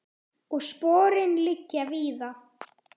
Og sporin liggja víða.